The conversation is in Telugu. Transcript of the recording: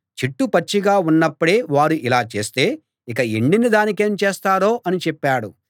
చెట్టు పచ్చిగా ఉన్నప్పుడే వారు ఇలా చేస్తే ఇక ఎండిన దానికేం చేస్తారో అని చెప్పాడు